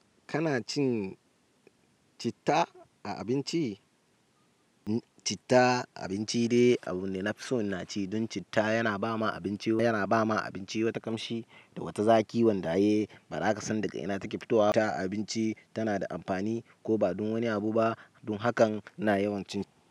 Kana cin citta a abinci? Citta a abinci dai abune nafi so naci. Don citta yana ba ma abinci wata ƙamshi da wata zaki wanda ai bana ka san daga ina take fitowa citta a abinci tana da amfani ko ba don wani abu ba. Don hakan ina yawan cin shi.